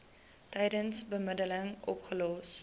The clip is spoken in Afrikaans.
tydens bemiddeling opgelos